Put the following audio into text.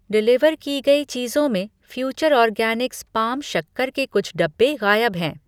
Deliver कि गई चीज़ों में फ़्यूचर ऑर्गैनिक्स पाम शक्कर के कुछ डब्बे गायब हैं।